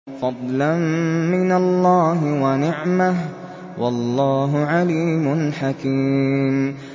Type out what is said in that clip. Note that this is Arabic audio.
فَضْلًا مِّنَ اللَّهِ وَنِعْمَةً ۚ وَاللَّهُ عَلِيمٌ حَكِيمٌ